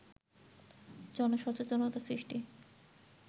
জনসচেতনতা সৃষ্টি